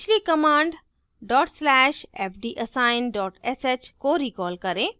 पिछली command dot slash fdassign sh को recall करें